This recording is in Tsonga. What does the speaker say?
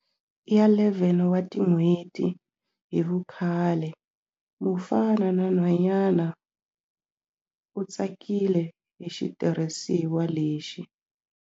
Ya 11 wa tin'hweti hi vukhale, mufana na nhwanyana, u tsakile hi xitirhisiwa lexi.